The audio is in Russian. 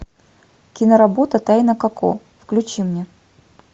киноработа тайна коко включи мне